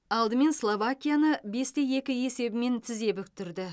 алдымен словакияны бес те екі есебімен тізе бүктірді